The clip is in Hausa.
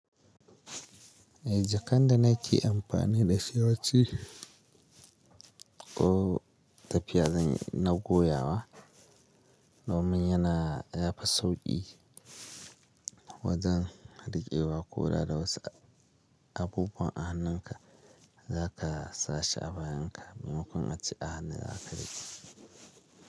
Eh jakanda na ke amfani da shi wayan ci ko tafiya zan yi na goyawa. Do min yana yafi sauƙi wajen riƙewa ko da da wasu abubuwan a hannun ka, za ka sa shi a bayan ka, maimakon ace a hannu za ka riƙe shi.